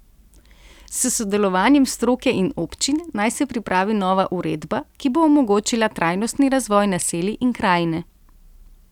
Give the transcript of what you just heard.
S sodelovanjem stroke in občin naj se pripravi nova uredba, ki bo omogočila trajnostni razvoj naselij in krajine.